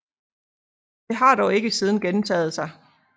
Det har dog ikke siden gentaget sig